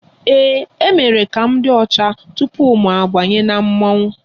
Ee, a mere ka m dị ọcha tupu mụ abanye na mmọnwụ